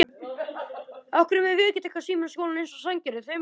Nú ertu fallinn frá.